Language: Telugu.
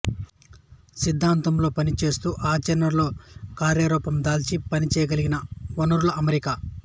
సిద్ధాంతంలో పని చేస్తూ ఆచరణలో కార్యరూపందాల్చి పనిచేయగలిగిన వనరుల అమరిక